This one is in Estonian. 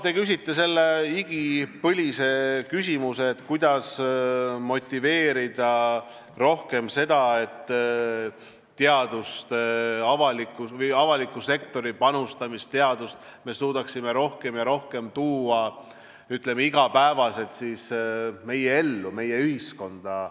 Te küsisite igipõlise küsimuse, kuidas motiveerida rohkem seda, et avaliku sektori panusest teadusesse me suudaksime rohkem ja rohkem tuua meie igapäevasesse ellu, meie ühiskonda.